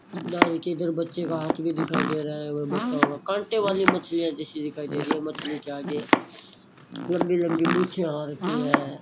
डारी के इधर बच्चे का हाथ भी दिखाई दे रहा है वे बच्चा होगा कांटे वाली मछलियां जैसी दिखाई दे रही है मछली के आगे लंबी लंबी मूछें आ रखी हैं।